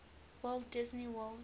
walt disney world